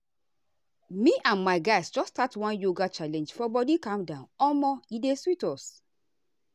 me and my guys just start one yoga challenge for body calm omo e dey sweet us.